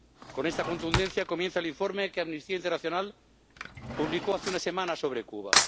Con esta contundencia comienza el informe que Amnistía Internacional publicó hace unas semanas sobre Cuba.